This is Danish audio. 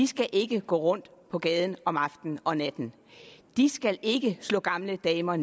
skal ikke gå rundt på gaden om aftenen og natten de skal ikke slå gamle damer